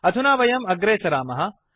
अधुना वयम् अग्रे सरामः